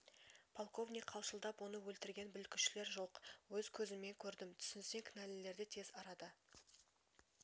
полковник қалшылдап оны өлтірген бүлікшілер жоқ өз көзіммен көрдім түсінсең кінәлілерді тез арада